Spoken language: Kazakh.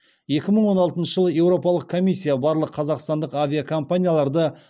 екі мың он алтыншы жылы еуропалық комиссия барлық қазақстандық авиакомпанияларды